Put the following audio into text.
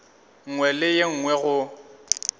nngwe le ye nngwe go